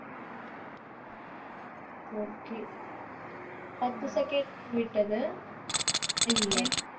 okay பத்து second விட்டது ஐய்யய்யோ